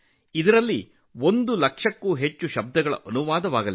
ಇದರಲ್ಲಿ 1 ಲಕ್ಷಕ್ಕೂ ಹೆಚ್ಚು ಪದಗಳನ್ನು ಅನುವಾದಿಸಲಾಗಿದೆ